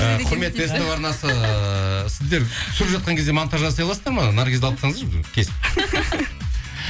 і құрметті ств арнасы сіздер түсіріп жатқан кезде монтаж жасай аласыздар ма наргизді алып тастаңыздаршы кесіп